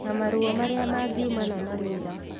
Na maruo marĩa mangiumana na wĩra